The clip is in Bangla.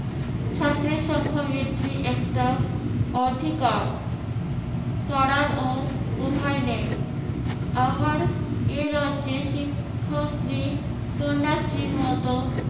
ছাত্রের সংখ্যা বৃদ্ধি একটা অধিকার করার ও উপায় নেই। আবার এই রাজ্যে শিক্ষার্থী কন্যাশ্রীর মত